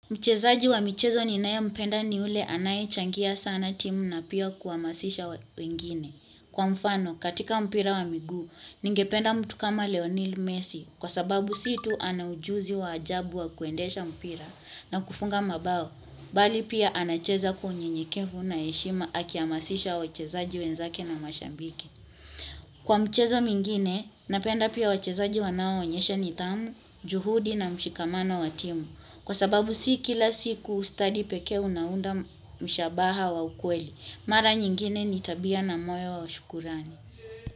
Mchezaji wa michezo ninayempenda ni yule anayechangia sana timu na pia kuhamasisha wengine. Kwa mfano, katika mpira wa miguu, ningependa mtu kama Leonil Messi, kwa sababu si tu ana ujuzi wa ajabu wa kuendesha mpira na kufunga mabao, bali pia anacheza kwa unyenyekevu na heshima akihamasisha wachezaji wenzake na mashabiki. Kwa mchezo mingine, napenda pia wachezaji wanaoonyesha nidhamu, juhudi na mshikamano wa timu, kwa sababu si kila siku ustadi pekee unaunda mshabaha wa ukweli mara nyingine ni tabia na moyo wa shukurani.